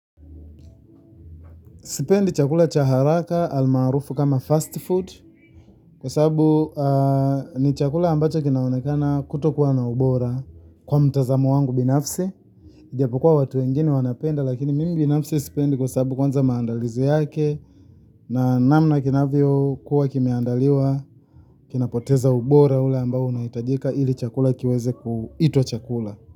Sipendi chakula cha haraka almaarufu kama fast food kwa sababu ni chakula ambacho kinaonekana kutokuwa na ubora kwa mtazamo wangu binafsi. Ijapokuwa watu wengine wanapenda lakini mimi binafsi sipendi kwa sababu kwanza maandalizi yake na namna kinavyokuwa kimeandaliwa kinapoteza ubora ule ambao unahitajika ili chakula kiweze kuitwa chakula.